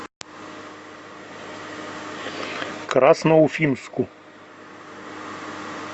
красноуфимску